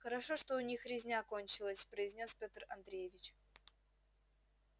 хорошо что у них резня кончилась произнёс петр андреевич